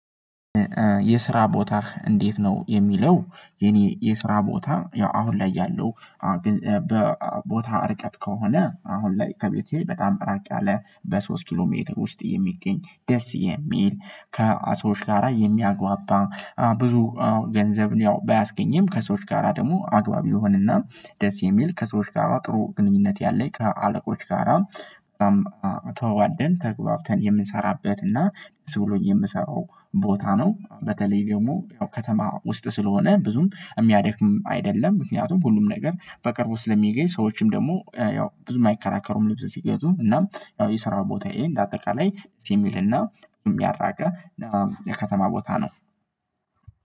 የስራ ቦታህ እንዴት ነው የሚለው? የኔ የስራ ቦታ ያው አሁን ላይ ያለው ርቀት ከሆነ አሁን ላይ ከቤቴ በጣም እራቅ ያለ በሶስት ኪሎ ሜትር ውስጥ የሚገኝ ደስ የሚል ከሰዎች ጋራ የሚያግባባ ብዙ ገንዘብን ያው ባያስገኝም ከሰዎች ጋራ ደግሞ አግባቢ የሆነ እና ደስ የሚል ከሰዎች ጋራ ጥሩ ግንኙነት ያለኝ ከአለቆች ጋራ ተዋደን ተግባብተን የምንሰራበት እና ብሎኝ የምሰራው ቦታ ነው። በተለይ ደግሞ ከተማ ውስጥ ስለሆነ ብዙም የሚያደክም አይደለም። ምክንያቱም ሁሉም ነገር በቅርቡ ስለሚገኝ ሰዎችም ደግሞ ያው ብዙም አይከራከሩም ልብስ ሲገዙ እናም ያው የሰራ ቦታዬ እንደ አጠቃላይ ደስ የሚል እና ያልራቀ የከተማ ቦታ ነው